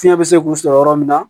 Fiɲɛ bɛ se k'u sɔrɔ yɔrɔ min na